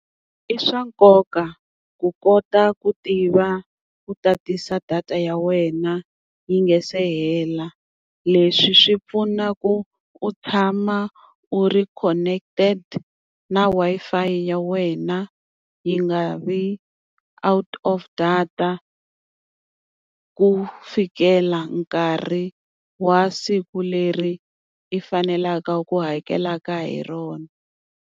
I swa nkoka ku kota ku tiva u tatisa data ya wena yi nga se hela, leswi swi pfuna ku u tshama u ri connected na Wi-Fi ya wena yi nga vi out of data, ku fikela nkarhi wa siku leri i fanelaka ku hakelaka hi rona.